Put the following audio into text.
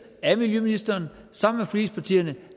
af miljøministeren sammen med forligspartierne